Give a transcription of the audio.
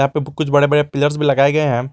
कुछ बड़े बड़े पिलर्स नही लगाए गए हैं।